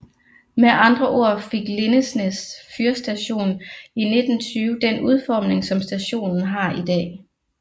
Med andre ord fik Lindesnes fyrstation i 1920 den udforming som stationen har i dag